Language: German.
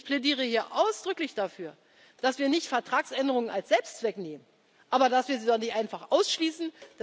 aus. Ich plädiere hier ausdrücklich dafür, dass wir nicht Vertragsänderungen als Selbstzweck nehmen, aber dass wir sie auch nicht einfach ausschließen.